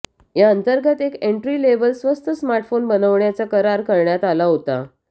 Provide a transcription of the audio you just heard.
याअंतर्गत एक entry level स्वस्त स्मार्टफोन बनवण्याचा करार करण्यात आला होता